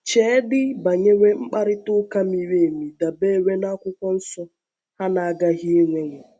Cheedị banyere mkparịta ụka miri emi dabeere n’Akwụkwọ Nsọ ha na-agaghị inwewo.